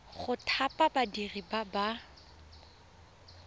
go thapa badiri ba ba